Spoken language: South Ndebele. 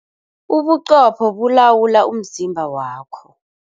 Ubuqopho bulawula umzimba wakho.